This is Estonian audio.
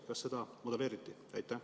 Kas seda on modelleeritud?